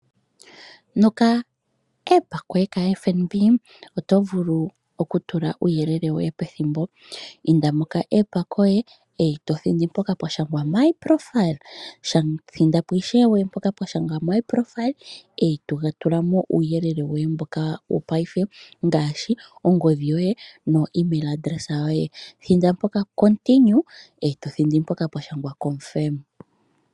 Nepandja lyoye lyopamalungula lyoFNb oto vulu okutula uuyelele woye petthimbo. Inda mepandja lyoye e to thindi mpoka pwa shanga "my profile", thinda po ishewe e to tula mo uuyelele woye mboka wopafe ngaashi onomlola yoye yongodhi noemail yoye. Thinda mpoka pwa shangwa "tsikila" noshowo mpoka pwa shangwa "kwashilipaleka".